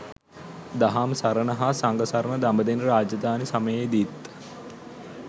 දහම් සරණ හා සඟ සරණ දඹදෙණි රාජධානි සමයේදීත්